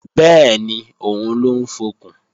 Bẹ́ẹ̀ni, òun ló ń fọkùn